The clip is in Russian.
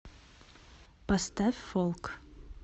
поставь фолк